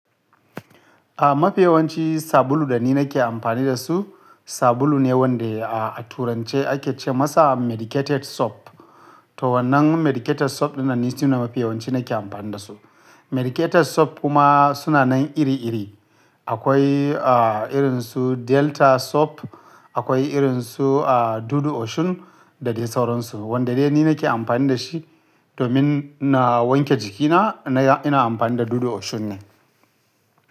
A mafiyawanci sabulu da ni nake amfani da su, sabulu ne wanda a turance ake ce masa medicated soap. To wannan medicated soap yana nuna mafiyawanci nake amfani da su. Medicated soap kuma suna nan iri iri. Akwai irin su Delta soap, akwai irin su Dudu Osun da dai sauransu. Wanda dai ni nake amfani da shi domin na wanke jikina ina amfani da Dudu Osun ne.